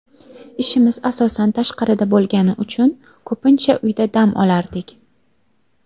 Ishimiz asosan tashqarida bo‘lgani uchun ko‘pincha uyda dam olardik.